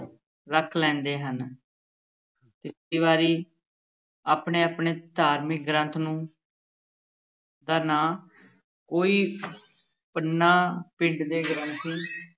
ਰੱਖ ਲੈਂਦੇ ਹਨ ਕਈ ਵਾਰੀ ਆਪਣੇ-ਆਪਣੇ ਧਾਰਮਿਕ ਗ੍ਰੰਥ ਨੂੰ ਦਾ ਨਾਂ ਕੋਈ ਪੰਨਾ ਪਿੰਡ ਦੇ ਗ੍ਰੰਥੀ